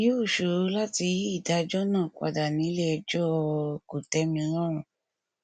yóò ṣòro láti yí ìdájọ náà padà nílé ẹjọ o kòtẹmilọrùn